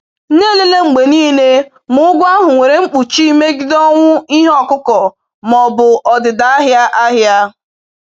Na-elele mgbe niile ma ụgwọ ahụ nwere mkpuchi megide ọnwụ ihe ọkụkụ ma ọ bụ ọdịda ahịa ahịa